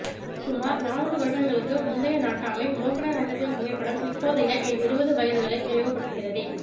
சுமார் நானூறு வருடங்களுக்கு முந்தைய நாட்டாமை மோகனரங்கத்தின் புகைப்படம் இப்போதைய என் இருபதுவயதுகளை நினைவு படுத்துகிறதே